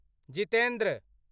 Jitendra